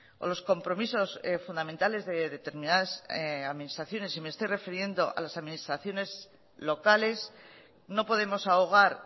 o los compromisos fundamentales de determinadas administraciones y me estoy refiriendo a las administraciones locales no podemos ahogar